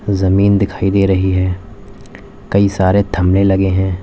जमीन दिखाई दे रही है कई सारे थमने लगे हैं।